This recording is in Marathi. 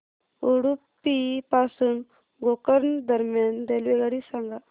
उडुपी पासून गोकर्ण दरम्यान रेल्वेगाडी सांगा